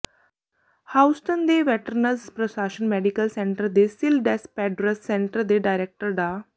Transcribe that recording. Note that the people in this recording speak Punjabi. ਹਿਊਸਟਨ ਦੇ ਵੈਟਰਨਜ਼ ਪ੍ਰਸ਼ਾਸਨ ਮੈਡੀਕਲ ਸੈਂਟਰ ਦੇ ਸਿਲ ਡਿਸਪੈਡਰਸ ਸੈਂਟਰ ਦੇ ਡਾਇਰੈਕਟਰ ਡਾ